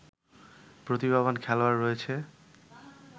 প্রতিভাবান খেলোয়াড় রয়েছে